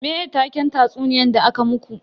Me taken tatsuniyan da aka muku?